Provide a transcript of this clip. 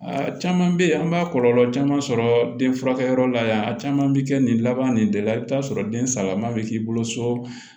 Aa caman bɛ yen an b'a kɔlɔlɔ caman sɔrɔ den furakɛyɔrɔ la yan a caman bɛ kɛ nin laban nin de la i bɛ t'a sɔrɔ den salaman bɛ k'i bolo so